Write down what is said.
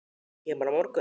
Kemurðu á morgun?